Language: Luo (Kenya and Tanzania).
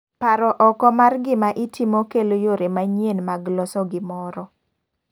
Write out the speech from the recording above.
Paro oko mar gima itimo kelo yore manyien mag loso gimoro.